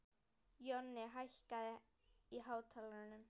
Jonni, hækkaðu í hátalaranum.